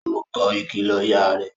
Ó kọ ìkìlọ ìyá rẹ̀